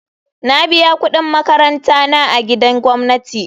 Na biya kudin makaranta na a gidan gwamnati.